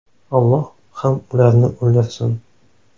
Alloh ham ularni o‘ldirsin.